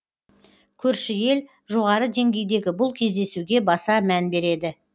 көрші ел жоғары деңгейдегі бұл кездесуге баса мән береді